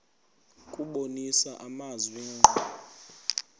kubonisa amazwi ngqo